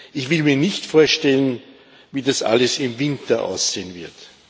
Ich will mir nicht vorstellen, wie das alles im Winter aussehen wird.